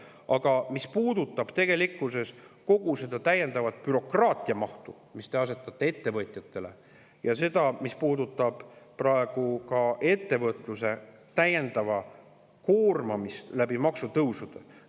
Aga see puudutab tegelikkuses kogu seda täiendavat bürokraatiamahtu, mille te asetate ettevõtjatele, ja ka ettevõtluse täiendavat koormamist maksutõusudega.